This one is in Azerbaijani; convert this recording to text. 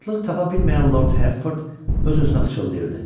Rahatlıq tapa bilməyən Lord Hertford öz-özünə pıçıldayırdı.